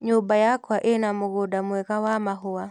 Nyũmba yakwa ĩna mũgũnda mwega wa mahũa.